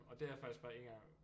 Og det er faktisk bare en gang